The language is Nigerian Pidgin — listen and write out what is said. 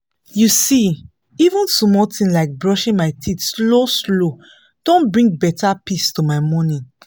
you see even small thing like brushing my teeth slow-slow don bring better peace to my morning